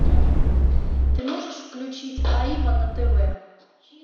ты можешь включить аива на тв